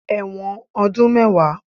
Ẹ̀wọ̀n ọdún mẹ́wàá